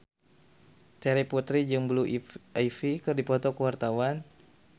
Terry Putri jeung Blue Ivy keur dipoto ku wartawan